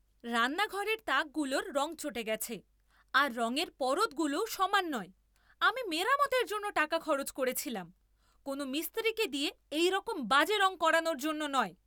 রান্নাঘরের তাকগুলোর রং চটে গেছে, আর রঙের পরতগুলোও সমান নয়। আমি মেরামতের জন্য টাকা খরচ করেছিলাম, কোনো মিস্ত্রিকে দিয়ে এইরকম বাজে রঙ করানোর জন্য নয়!